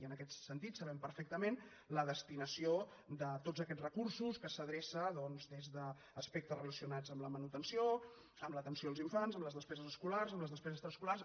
i en aquest sentit sabem perfectament la destinació de tots aquests recursos que s’adrecen a aspectes relacionats amb la manutenció amb l’atenció als infants amb les despeses escolars amb les despeses extraescolars